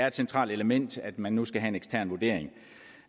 et centralt element at man nu skal have en ekstern vurdering